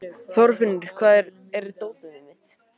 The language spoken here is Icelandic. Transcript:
Þorfinnur, hvar er dótið mitt?